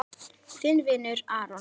Þinn vinur Aron.